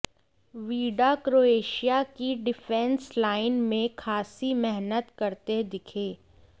Vida Croatia की defence line में खासी मेहनत करते दिखे